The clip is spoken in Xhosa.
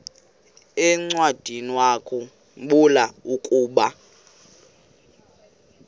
encwadiniwakhu mbula ukuba